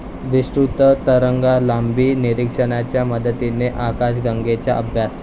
विस्तृत तरंगलांबी निरीक्षणाच्या मदतीने आकाशगंगेचा अभ्यास